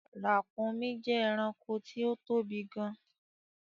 Ràkúnmí jẹ́ ẹranko tí ó tóbi gan-an